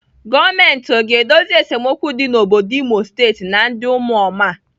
Gọọmenti ọ ga-edozi esemokwu dị n'obodo Imo State na ndị ụmụoma?